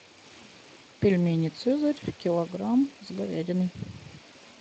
пельмени цезарь килограмм с говядиной